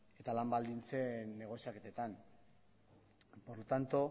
eta lan baldintzen negoziaketetan por lo tanto